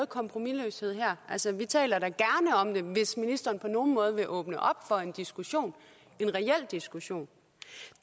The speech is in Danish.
kompromisløshed her altså vi taler da gerne om det hvis ministeren på nogen måde vil åbne op for en diskussion en reel diskussion